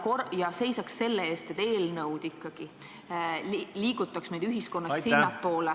Kas ta ei peaks seisma selle eest, et eelnõud ikkagi viiksid meid ühiskonnas sinnapoole ...